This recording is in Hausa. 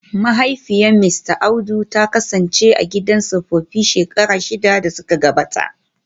Mahaifiyar Mista Audu ta kasance a gidan tsofaffi shekaru shida da suka gabata